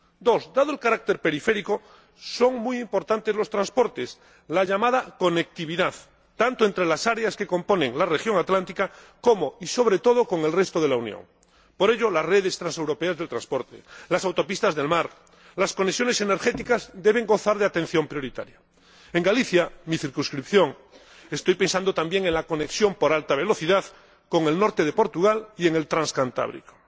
En segundo lugar, dado el carácter periférico, son muy importantes los transportes —la llamada conectividad—, tanto entre las áreas que componen la región atlántica como, y sobre todo, con el resto de la Unión. Por ello, las redes transeuropeas de transporte, las autopistas del mar, las conexiones energéticas deben gozar de atención prioritaria. En cuanto a Galicia, mi circunscripción, estoy pensando también en la conexión por alta velocidad con el norte de Portugal y en el Transcantábrico.